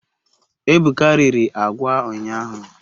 Ebuka riri agwa unyahu